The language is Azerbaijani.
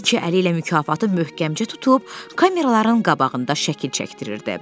İki əli ilə mükafatı möhkəmcə tutub, kameraların qabağında şəkil çəkdirirdi.